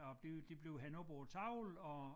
Og bliver de bliver hængt op på æ tavle og